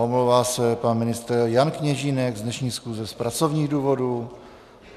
Omlouvá se pan ministr Jan Kněžínek z dnešní schůze z pracovních důvodů.